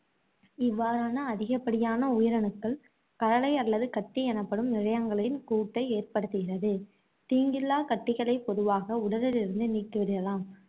இவ்வாறான அதிகப்படியான உயிரணுக்கள் கழலை அல்லது கட்டி எனப்படும் கூட்டை ஏற்படுத்துகிறது. தீங்கில்லா கட்டிகளை பொதுவாக உடலில் இருந்து நீக்கிவிடலாம்.